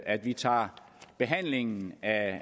at vi tager behandlingen af